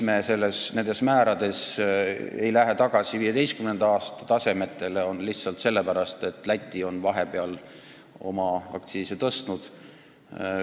Me ei lähe nende määradega tagasi 2015. aasta tasemetele lihtsalt sellepärast, et Läti on vahepeal oma aktsiise tõstnud.